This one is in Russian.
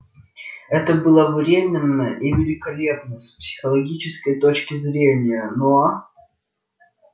это было временно и великолепно с психологической точки зрения но